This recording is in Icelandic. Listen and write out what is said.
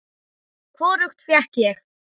Hvorugt fékk ég.